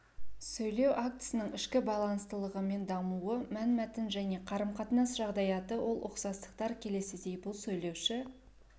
сөйлеу актісінің ішкі байланыстылығы мен дамуы мәнмәтін және қарым-қатынас жағдаяты ол ұқсастықтар келесідей бұл сөйлеуші